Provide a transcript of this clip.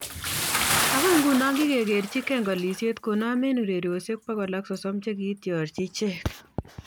Agoi nguno kikogerchi Genk kolisiek konom eng ureriosyek bokol ak sosom che kiitiorji ichek